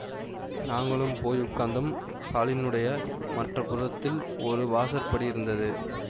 நாங்களும் போய் உட்கார்ந்தோம் ஹாலினுடைய மற்ற புறத்தில் ஒரு வாசற்படி இருந்தது